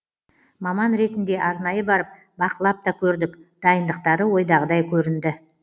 маман ретінде арнайы барып бақылап та көрдік дайындықтары ойдағыдай көрінді